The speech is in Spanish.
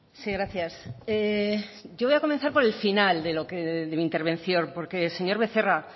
sí gracias yo voy a comenzar por el final de mi intervención porque señor becerra